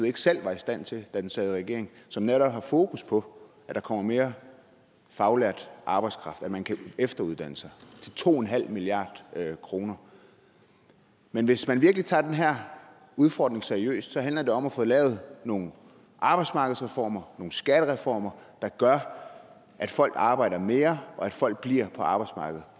ikke selv var i stand til da det sad i regering som netop har fokus på at der kommer mere faglært arbejdskraft at man kan efteruddanne sig til to milliard kroner men hvis man virkelig tager den her udfordring seriøst handler det om at få lavet nogle arbejdsmarkedsreformer nogle skattereformer der gør at folk arbejder mere og at folk bliver på arbejdsmarkedet